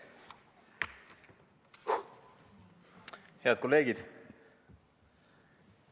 Head kolleegid!